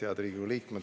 Head Riigikogu liikmed!